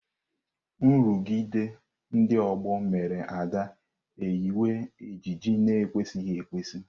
Nrụgide ndị ọgbọ mere Ada eyiwe ejiji na-ekwesịghị ekwesị.